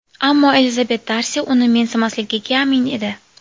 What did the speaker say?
Ammo Elizabet Darsi uni mensimasligiga amin edi.